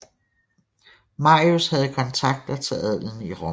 Marius havde kontakter til adelen i Rom